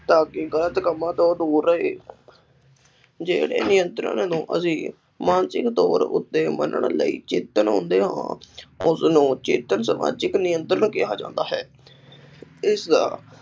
ਤਾਂ ਕਿ ਗਲਤ ਕੰਮਾਂ ਤੋਂ ਦੂਰ ਰਹੇ ਜਿਹੜੇ ਨਿਯੰਤਰਣ ਨੂੰ ਅਸੀਂ ਮਾਨਸਿਕ ਤੌਰ ਉੱਤੇ ਮੰਨਣ ਲਈ ਚਿੰਤਨ ਹੁੰਦੇ ਹਾਂ, ਉਸਨੂੰ ਚਿੰਤਨ ਸਮਾਜਿਕ ਨਿਯੰਤਰਣ ਕਿਹਾ ਜਾਂਦਾ ਹੈ। ਇਸ ਦਾ